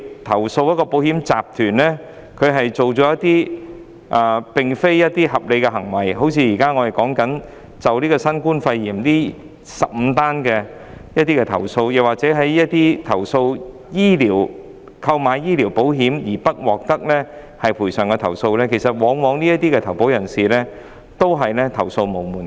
假設某個保險集團作出不合理行為，即如我剛提及有關新冠肺炎的15宗投訴或一些購買醫療保險後不獲賠償的投訴個案，當中的投保人往往也是投訴無門的。